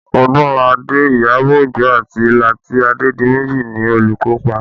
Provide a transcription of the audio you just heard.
Odunlade, Iyabọ̀ Ojo àti Lati Adedimeji ni olùkópa